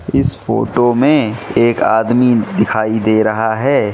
इस फोटो में एक आदमी दिखाई दे रहा है।